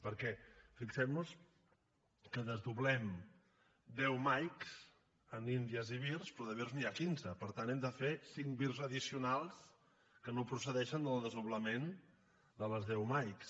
perquè fixem nos que desdoblem deu mike amb india i vir però de vir n’hi ha quinze per tant hem de fer cinc vir addicionals que no procedeixen del desdoblament de les deu mike